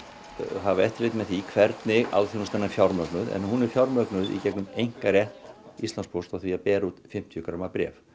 hafa eftirlit með því hvernig alþjónustan er fjármögnuð en hún er fjármögnuð í gegnum einkarétt Íslandspósts á því að bera út fimmtíu gramma bréf